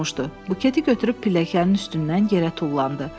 Buketi götürüb pilləkənin üstündən yerə tullandı.